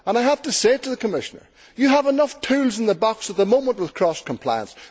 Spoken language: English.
I have to say to the Commissioner you have enough tools in the box at the moment with cross compliance